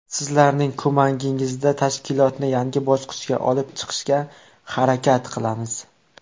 Sizlarning ko‘magingizda tashkilotni yangi bosqichga olib chiqishga harakat qilamiz.